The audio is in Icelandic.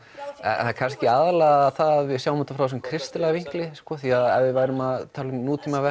er kannski aðallega það að við sjáum þetta út frá þessum kristilega vinkli því ef við værum að tala um